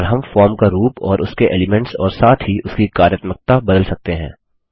और हम फॉर्म का रूप और उसके एलीमेंट्स और साथ ही उसकी कार्यत्मकता बदल सकते हैं